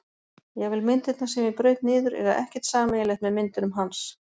Jafnvel myndirnar sem ég braut niður eiga ekkert sameiginlegt með myndunum hans.